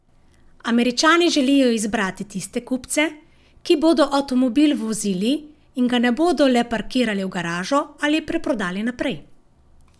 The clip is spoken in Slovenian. Američani želijo izbrati tiste kupce, ki bodo avtomobil vozili in ga ne bodo le parkirali v garažo ali preprodali naprej.